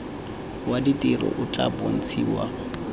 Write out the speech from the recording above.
wa ditiro o tla bontshiwa